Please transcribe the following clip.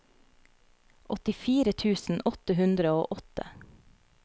åttifire tusen åtte hundre og åtte